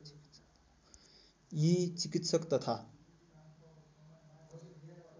यी चिकित्सक तथा